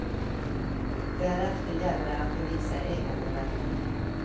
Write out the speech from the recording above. Därefter gäller det att bevisa äganderätten.